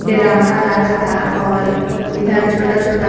डेरावना लागता और इधर छोटा-छोटा --